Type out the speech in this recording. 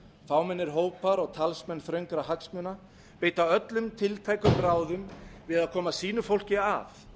fámennir hópar og talsmenn þröngra hagsmuna beita öllum tiltækum ráðum við að koma sínu fólki að